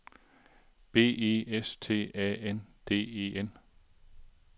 B E S T A N D E N